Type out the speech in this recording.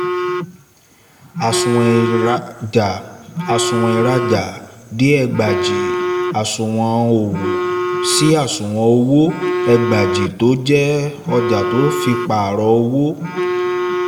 àsùnwọ̀n ìrajà àsùnwọ̀n ìrajà dé ẹgbàjì àsùnwọ̀n òwò sí àsùnwọ̀n owó ẹgbàjì tó jẹ́ ọjà tọ́ fi pàrọ̀ owó